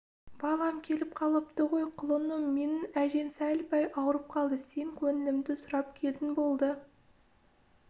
балам келіп қалыпты ғой құлыным менің әжең сәл-пәл ауырып қалды сен көңілімді сұрап келдің болды